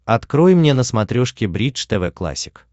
открой мне на смотрешке бридж тв классик